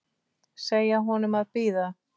Segja honum að bíða.